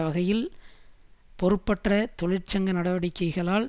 வகையில் பொறுப்பற்ற தொழிற்சங்க நடவடிக்கைகளால்